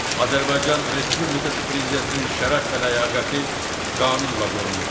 Azərbaycan Respublikası Prezidentinin şərəf və ləyaqəti qanunla qorunur.